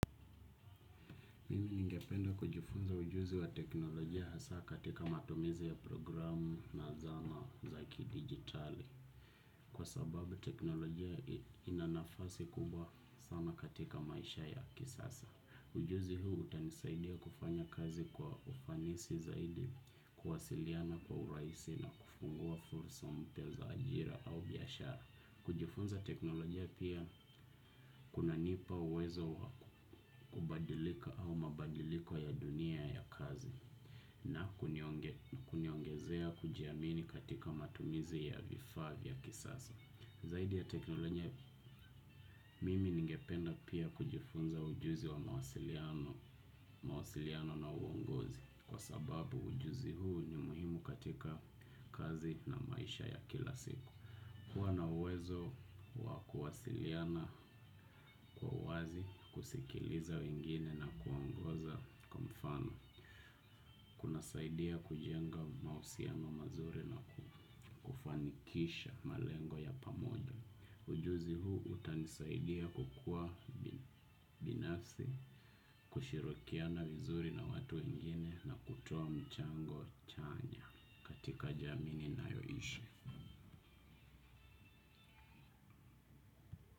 Ningependa kujifunza ujuzi wa teknolojia hasa katika matumizi ya programu na zana za ki digitali kwa sababu teknolojia inanafasi kubwa sana katika maisha ya kisasa. Ujuzi huu utanisaidia kufanya kazi kwa ufanisi zaidi kuwasiliana kwa uraisi na kufungua fursa mpia za ajira au biyashara. Kujifunza teknolojia pia kuna nipa uwezo kubadilika au mabadiliko ya dunia ya kazi na kuniongezea kujiamini katika matumizi ya vifa vya kisasa. Zaidi ya teknolojia mimi ningependa pia kujifunza ujuzi wa mawasiliano na uongozi kwa sababu ujuzi huu ni muhimu katika kazi na maisha ya kila siku. Kuwa nauwezo wakuwasiliana kwa wazi, kusikiliza wengine na kuwaongoza kwa mfano. Kuna saidia kujenga mausiyano mazuri na kufanikisha malengo ya pamoja. Ujuzi huu utanisaidia kukua binasi, kushirikiana wizuri na watu wengine na kutoa mchango chanya katika jami ninayoishi.